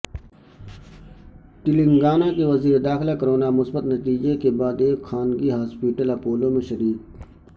تلنگانہ کے وزیر داخلہ کرونا مثبت نتیجہ کے بعد ایک خانگی ہاسپٹل اپولو میں شریک